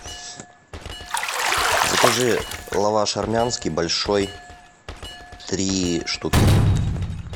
закажи лаваш армянский большой три штуки